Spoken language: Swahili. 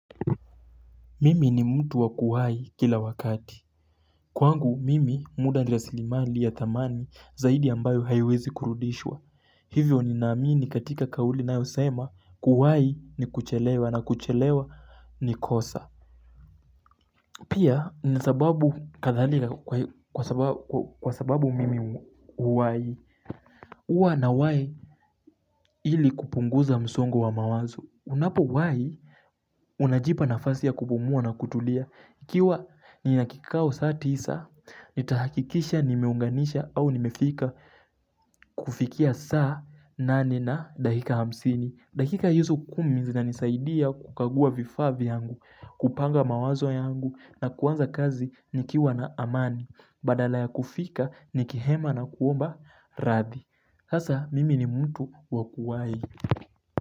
Mimi ni mtu wa kuhai kila wakati. Kwangu mimi muda ni rasilimali ya dhamani zaidi ambayo haiwezi kurudishwa. Hivyo ninamini ni katika kauli inayosema kuhai ni kuchelewa na kuchelewa ni kosa. Pia nina sababu kadhalika kwa sababu mimi huwai. Huwa nawai ili kupunguza msongo wa mawazo. Unapowai unajipa nafasi ya kupumua na kutulia. Ikiwa nina kikao saa tisa, nitahakikisha nimeunganisha au nimefika kufikia saa nane na dakika hamsini. Dakika hizo kumi zinanisaidia kukagua vifaa vyangu, kupanga mawazo yangu na kuanza kazi nikiwa na amani. Badala ya kufika nikihema na kuomba radhi. Sasa mimi ni mtu wa kuwai.